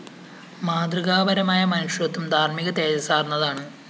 മാതൃകാപരമായ മനുഷ്യത്വം ധാര്‍മ്മിക തേജസ്സാര്‍ന്നതാണ്